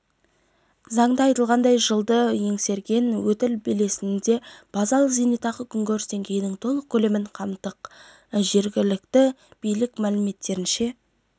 заңда айқындалғандай жылды еңсерген өтіл белесінде базалық зейнетақы күнкөріс деңгейінің толық көлемін қамтымақ жергілікті билік мәліметтерінше